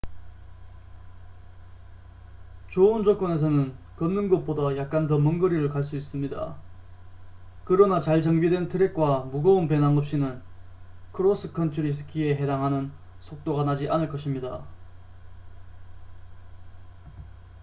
좋은 조건에서는 걷는 것보다 약간 더 먼 거리를 갈 수 있습니다 그러나 잘 정비된 트랙과 무거운 배낭 없이는 크로스컨트리 스키에 해당하는 속도가 나지 않을 것입니다